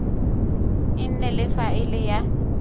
e nne le faele ya